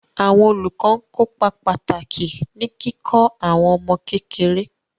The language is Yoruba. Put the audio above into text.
Àwọn olùkọ́ ń kópa pàtàkì ní kíkọ́ àwọn ọmọ kékeré.